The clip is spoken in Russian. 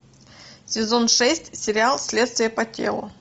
сезон шесть сериал следствие по телу